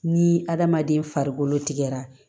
Ni adamaden farikolo tigɛra